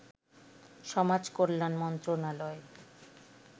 সমাজ কল্যাণ মন্ত্রণালয়